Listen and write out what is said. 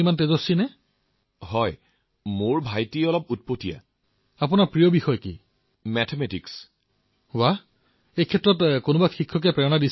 আচ্ছা তেন্তে মায়ে আপোনাক শিকাইও চাগে